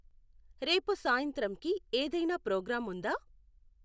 రేపు సాయంత్రంకి ఏదైనా ప్రోగ్రాం ఉందా